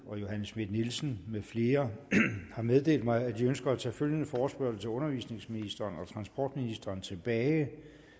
johanne schmidt nielsen med flere har meddelt mig at de ønsker at tage følgende forespørgsel til undervisningsministeren og transportministeren tilbage